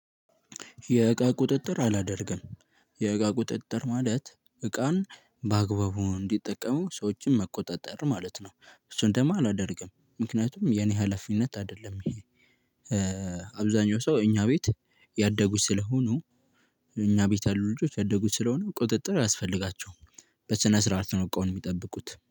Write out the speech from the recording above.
የእቃ ቁጥጥር አላደርግም። የእቃ ቁጥጥር ማለት እቃን በአግባቡ እንዲጠቀሙ ሰዎችን መቆጣጠር ማለት ነው። እሱን ደግሞ አላደርግም ምክንያቱም የኔ ሀላፊነት አይደለም ይሄ። አብዛኛው ሰው እኛ ቤት ያደጉ ስለሆኑ እኛ ቤት ያሉ ልጆች ያደጉ ስለሆኑ ቁጥጥር አያስፈልጋቸውም። በስነሥርዓት ነው እቃውን የሚጠብቁት